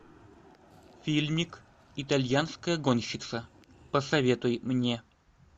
фильмик итальянская гонщица посоветуй мне